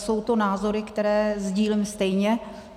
Jsou to názory, které sdílím stejně.